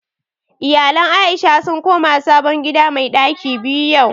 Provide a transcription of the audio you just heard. Iyalan Aisha sun koma sabon gida mai ɗaki biyu yau